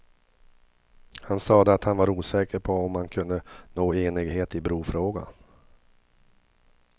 Han sade att han var osäker på om man kunde nå enighet i brofrågan.